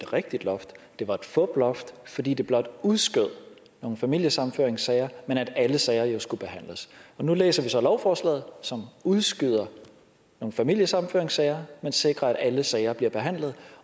rigtigt loft det var et fuploft fordi det blot udskød nogle familiesammenføringssager men at alle sager jo skulle behandles og nu læser vi så lovforslaget som udskyder nogle familiesammenføringssager man sikrer at alle sager bliver behandlet